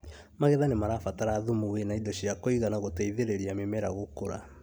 Magetha nĩmarabatara thumu wĩna indo cia kũigana gũteithĩrĩria mĩmera gũkũra